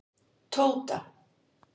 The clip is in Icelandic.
Tóta